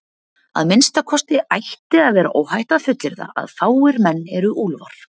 Að minnsta kosti ætti að vera óhætt að fullyrða að fáir menn eru úlfar.